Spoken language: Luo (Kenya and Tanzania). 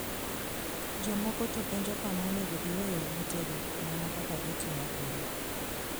Jomoko to penjo kama onego giweye ogutegi, mana kaka gitimo pile.